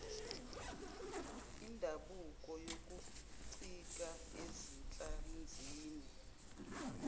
indabuko yokuncika ezinhlanzini